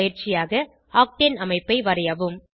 பயிற்சியாக ஆக்டேன் அமைப்பை வரையவும்